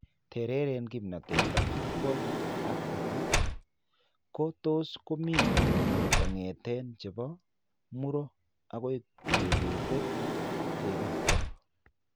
Tereren kiimnatet ak vicual acuity ko tos' ko mii kog'eten che po muro akoi kebet kekerto .